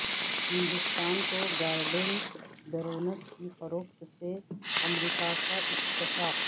ہندوستان کو Guardian drones کی فروخت سے امریکہ کا اتفاق